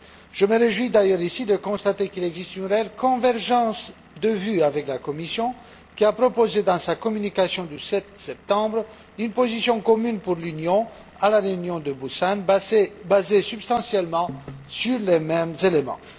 Je me réjouis d'ailleurs ici de constater qu'il existe une réelle convergence de vues avec la Commission, qui a proposé, dans sa communication du 7 septembre, une position commune de l'Union pour la réunion de Busan basée substantiellement sur les mêmes éléments.